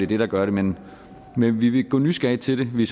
det der gør det men men vi vil gå nysgerrigt til det vi